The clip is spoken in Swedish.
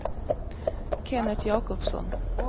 Kenneth Jacobsson